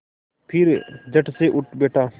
फिर झटसे उठ बैठा